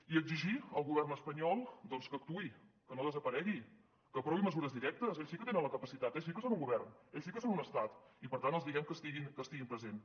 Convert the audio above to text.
i exigir al govern espanyol que actuï que no desaparegui que aprovi mesures directes ells sí que en tenen la capacitat ells sí que són un govern ells sí que són un estat i per tant els diem que estiguin presents